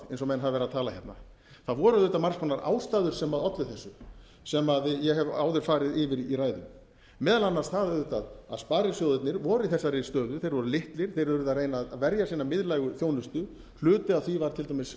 eins og menn hafa verið að tala hérna það voru auðvitað margar ástæður sem ollu þessu sem ég hef áður farið yfir í ræðu meðal annars það auðvitað að sparisjóðirnir voru í þessari stöðu þeir voru litlir þeir yrðu að reyna að verja sína miðlægu þjónustu hluti af því var til dæmis